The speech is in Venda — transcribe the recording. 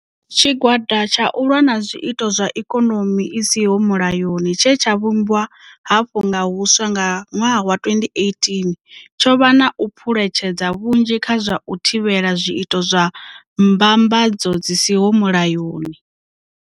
Tshigwada tsha u lwa na Zwiito zwa Ikonomi i siho Mulayoni tshe tsha vhumbwa hafhu nga huswa nga ṅwaha wa 2018 tsho vha na u phuletshedza hunzhi kha zwa u thivhela zwiito zwa mbamba dzo dzi siho mulayoni.